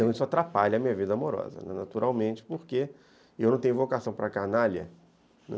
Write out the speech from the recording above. Então, isso atrapalha a minha vida amorosa, naturalmente, porque eu não tenho vocação para a canalha, né?